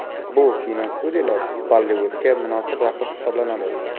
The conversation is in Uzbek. Bu kinostudiyalar Bollivudga munosib raqib hisoblanadi.